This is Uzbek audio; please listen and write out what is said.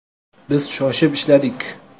Biz shoshib ishladik.